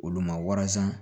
Olu ma waransan